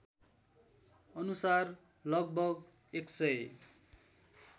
अनुसार लगभग १००